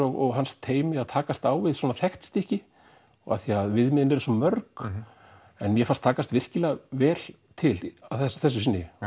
og hans teymi að takast á við svona þekkt stykki því viðmiðin eru svo mörg en mér fannst takast virkilega vel til að þessu sinni það